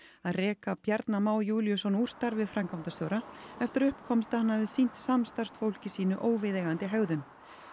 að reka Bjarna Má Júlíusson úr starfi framkvæmdastjóra eftir að upp komst að hann hafi sýnt samstarfsfólki sínu óviðeigandi hegðun